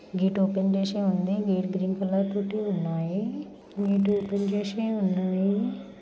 Gate open చేసి ఉంది. Gate green colour తోటి ఉన్నాయి. గేట్ ఓపెన్ చేసి ఉన్నాయ్.